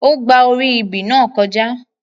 Ó gba orí ebè náà kọjá.